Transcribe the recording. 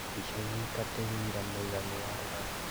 Mbica yoika ti wũira mũiganu wa rũgano